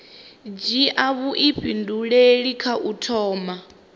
dzhia vhuifhinduleli kha u thoma